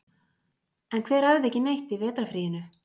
En hver æfði ekki neitt í vetrarfríinu?